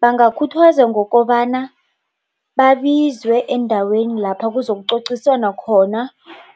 Bangakhuthazwa ngokobana babizwe endaweni lapha kuzokucociswano khona